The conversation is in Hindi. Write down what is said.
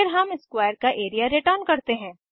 फिर हम स्क्वायर का एरिया रिटर्न करते हैं